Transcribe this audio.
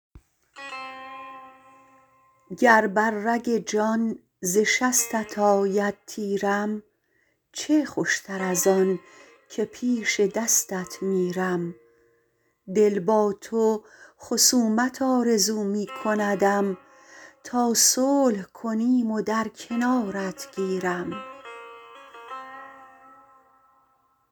گر بر رگ جان ز شستت آید تیرم چه خوشتر ازان که پیش دستت میرم دل با تو خصومت آرزو می کندم تا صلح کنیم و در کنارت گیرم